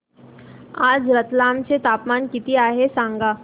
आज रतलाम चे तापमान किती आहे सांगा